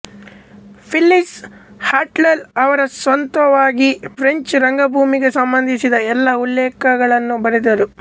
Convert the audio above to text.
Phyllis Hartnoll ಅವರು ಸ್ವಂತವಾಗಿ French ರಂಗಭೂಮಿಗೆ ಸಂಬಂಧಿಸಿದ ಎಲ್ಲಾ ಉಲ್ಲೇಖನಗಳನ್ನು ಬರೆದರು